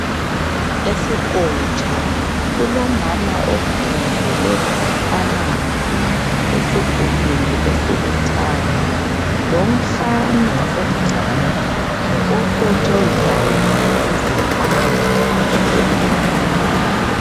Esikotsho kulomama okhongozele amanzi esigubhini esilithanga lomfana omncane okotshozayo ukuze amanzi aphume.